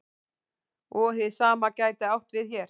Og hið sama gæti átt við hér.